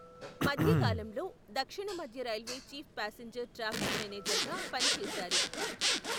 మధ్య కాలంలో, దక్షిణ మధ్య railway chief passenger traffic manager గా, పని చేశారు.